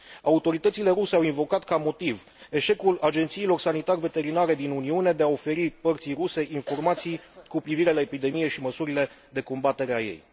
Autoritățile ruse au invocat ca motiv eșecul agențiilor sanitar veterinare din Uniune de a oferi părții ruse informații cu privire la epidemie și măsurile de combatere a ei.